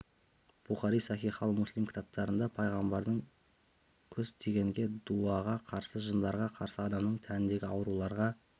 бухари сахи хал муслим кітаптарында пайғамбардың көз тигенге дуаға қарсы жындарға қарсы адамның тәніндегі ауруларға